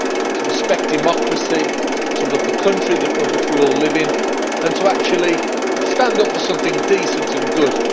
to respect democracy, to love the country in which we all live and to actually stand up for something decent and good.